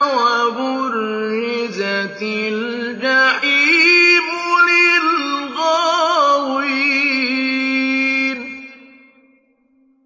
وَبُرِّزَتِ الْجَحِيمُ لِلْغَاوِينَ